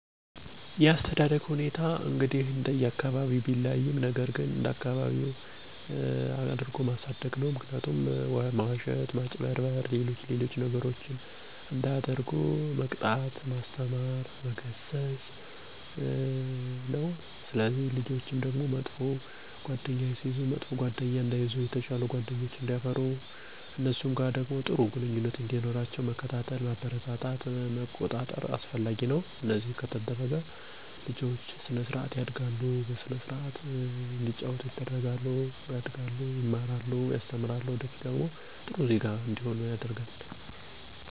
ልጆች ሐቀኛ እና ስርአት ያላቸዉ እንዲሆኑ ማድረግ ያለብን ነገሮች የሚከተሉት ናቸዉ። 1. ወላጆች በልጆቻችን ፊት አለመዋሸት 2. ጓደኞችን መርጠዉ እንዲጫወቱ ማገዝ 3. ማጭበርበር፣ መዋሸት እና ስርቆት መጥፎ ድርጊቶች እንደሆኑ በተደጋጋሚ ማስተማር 4. የስክ ጌሞችን እና ለልጆች የማይሆኑ የቴሌቭዥን ፕሮግራሞች እንዳይከታተሉ መቆጣጠር 5ከመቆንጠጥ ከመግረፍ ይልቅ መምከር ናቸዉ። አነዚህ ከ1 እስከ 5 የተዘረዘሩትን እኛ ወለጆች በትኩረት በመከወን ልጆቻችን በስነ ምግባር የታነጡ ምስጉን እና ታማኝ ለአገራቸው ጠቃሚ እንዲሆኑ ያደርጋቸዋል።